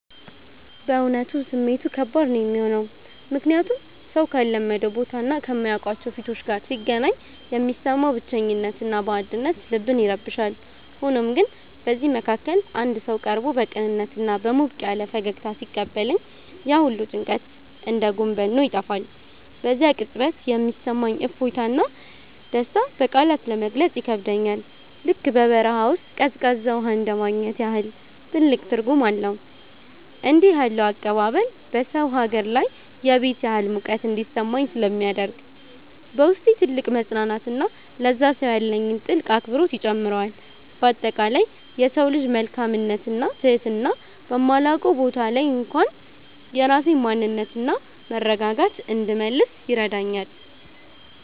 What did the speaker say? በእውነቱ ስሜቱ ከባድ ነው የሚሆነው፤ ምክንያቱም ሰው ካልለመደው ቦታና ከማያውቃቸው ፊቶች ጋር ሲገናኝ የሚሰማው ብቸኝነትና ባዕድነት ልብን ይረብሻል። ሆኖም ግን በዚህ መሃል አንድ ሰው ቀርቦ በቅንነትና በሞቅ ያለ ፈገግታ ሲቀበለኝ፣ ያ ሁሉ ጭንቀት እንደ ጉም በኖ ይጠፋል። በዚያ ቅጽበት የሚሰማኝ እፎይታና ደስታ በቃላት ለመግለጽ ይከብዳል፤ ልክ በበረሃ ውስጥ ቀዝቃዛ ውሃ እንደማግኘት ያህል ትልቅ ትርጉም አለው። እንዲህ ያለው አቀባበል በሰው ሀገር ላይ የቤት ያህል ሙቀት እንዲሰማኝ ስለሚያደርግ፣ በውስጤ ትልቅ መፅናናትንና ለዚያ ሰው ያለኝን ጥልቅ አክብሮት ይጨምረዋል። በአጠቃላይ የሰው ልጅ መልካምነትና ትህትና በማላውቀው ቦታ ላይ እንኳን የራሴን ማንነትና መረጋጋት እንድመልስ ይረዳኛል።